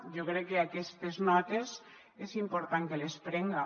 jo crec que aquestes notes és important que les prenga